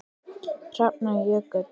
Hrafnar Jökull.